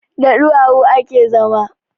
Da ɗuwawu ake zama